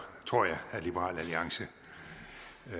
at liberal alliance